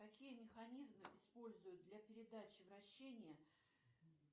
какие механизмы используют для передачи вращения